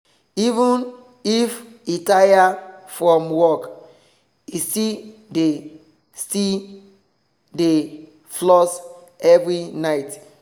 even if e tire from work he still dey still dey floss every night.